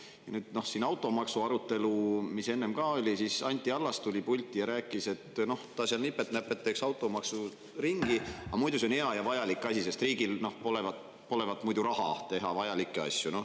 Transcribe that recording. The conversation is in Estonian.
Ja nüüd automaksu arutelul, mis enne oli, Anti Allas tuli pulti ja rääkis, et ta nipet-näpet, teeks automaksu ringi, aga muidu see on hea ja vajalik asi, sest riigil polevat muidu raha teha vajalikke asju.